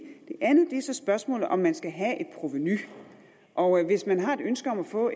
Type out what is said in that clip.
det andet er så spørgsmålet om man skal have et provenu og hvis man har et ønske om at få